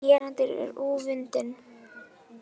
Gerandinn er ófundinn